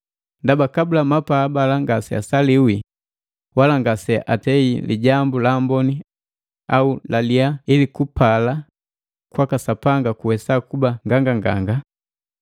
Ndaba kabula mapaa bala ngaseasaliwi wala ngaseatei lijambu lamboni au lilyaa ili kupala kwaka Sapanga kuwesa kuba nganganganga,